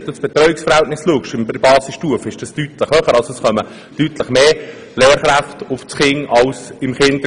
Das Betreuungsverhältnis in der Basisstufe ist deutlich höher, das heisst, es gibt pro Anzahl Kinder deutlich mehr Lehrkräfte als im Kindergarten.